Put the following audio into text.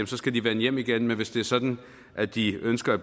skal de vende hjem igen men hvis det er sådan at de ønsker at